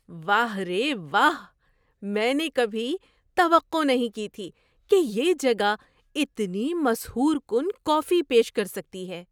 واہ رے واہ! میں نے کبھی توقع نہیں کی تھی کہ یہ جگہ اتنی مسحور کن کافی پیش کر سکتی ہے۔